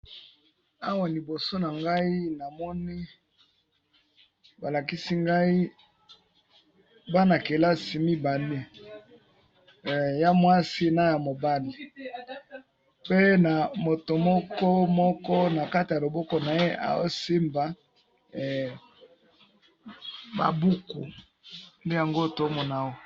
Awa liboso na ngai namoni balakisi ngai bana kelasi mibale mwasi na mobali baza na ba buku na loboko na bango.